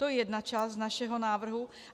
To je jedna část našeho návrhu.